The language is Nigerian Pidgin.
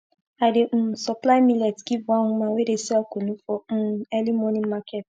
i dey um supply millet give one woman wey dey sell kunu for um early morning market